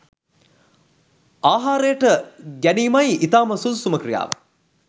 ආහාරයට ගැනීමයි ඉතාම සුදුසුම ක්‍රියාව.